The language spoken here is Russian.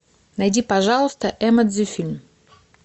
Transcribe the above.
найди пожалуйста эмодзи фильм